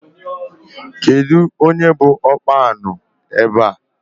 Kedụ onye bụ ọkpa añụ ebe a?